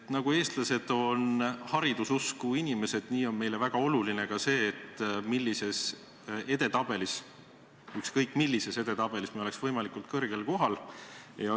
Nii nagu eestlased on hariduse usku inimesed, nii on meile väga oluline ka see, et me ükskõik millises edetabelis oleksime võimalikult kõrgel kohal.